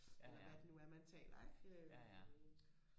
eller hvad det nu er man taler ikke øhm